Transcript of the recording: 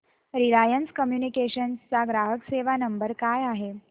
Reliance Communications चा ग्राहक सेवा नंबर काय आहे